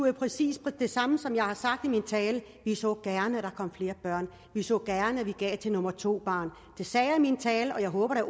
jo præcis det samme som jeg har sagt i min tale vi så gerne at der kom flere børn vi så gerne at vi gav til nummer to barn det sagde jeg i min tale og jeg håber da